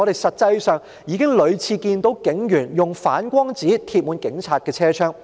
實際上，我們已屢次看到警隊巴士的車窗滿貼反光紙。